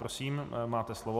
Prosím, máte slovo.